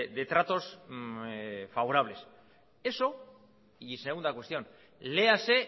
de tratos favorables eso y segunda cuestión léase